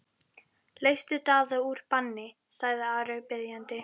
Leystu Daða úr banni, sagði Ari biðjandi.